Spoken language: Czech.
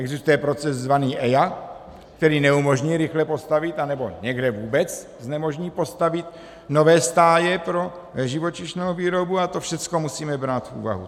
Existuje proces zvaný EIA, který neumožní rychle postavit, anebo někde vůbec znemožní postavit nové stáje pro živočišnou výrobu a to všechno musíme brát v úvahu.